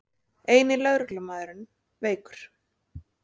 Eini lögreglumaðurinn veikur